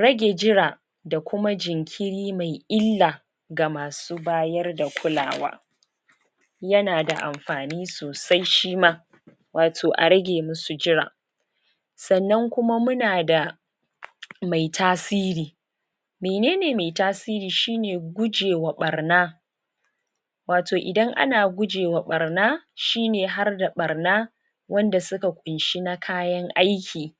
rage jira da kuma jinkiri mai illa ga masa bayar da kulawa yana da anfani sosai shima wato a rage musu jira san nan kuma munada mai tasiri menene mai tasiri shine kuge wa barna wato idan ana jujema barna shine harda barna wanda suka kunshi na kayan aiki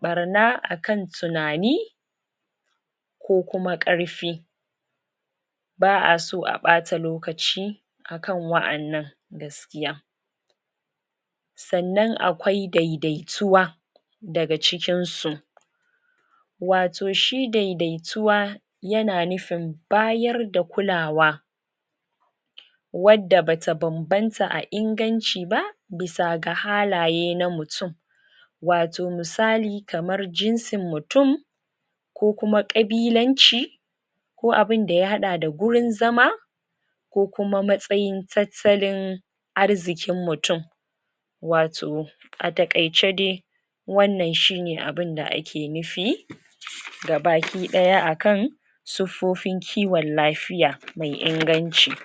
barna akan tunani ko kuma karfi baa so a bata lokaci akan wayan nan gaskiya san nan akwai daidaituwa dagacikin su wato shi daidaituwa, yana nufin bayar da kulawa, wanda bata banbanta a inganciba bisa ga halaye na mutun wato musali kaman jinsin mutun ko kuma kabilanci ko abin da ya hada da gurin zama kokuma matsayin tattalin arzikin mutun wato a takaice dai wa nan shine abun da kake nufi gabaki daya akan suffofin kowon lafiya mai inganci